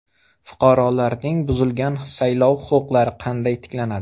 Fuqarolarning buzilgan saylov huquqlari qanday tiklanadi?